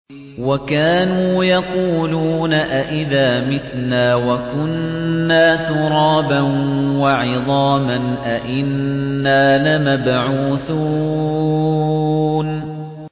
وَكَانُوا يَقُولُونَ أَئِذَا مِتْنَا وَكُنَّا تُرَابًا وَعِظَامًا أَإِنَّا لَمَبْعُوثُونَ